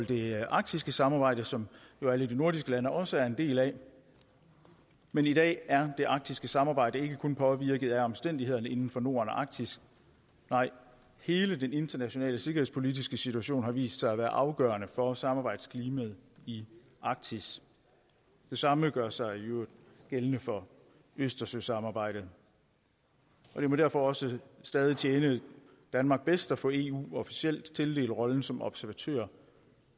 det arktiske samarbejde som alle de nordiske lande jo også er en del af men i dag er det arktiske samarbejde ikke kun påvirket af omstændighederne inden for norden og arktis nej hele den internationale sikkerhedspolitiske situation har vist sig at være afgørende for samarbejdsklimaet i arktis det samme gør sig i øvrigt gældende for østersøsamarbejdet det må derfor også stadig tjene danmark bedst at få eu officielt tildelt rollen som observatør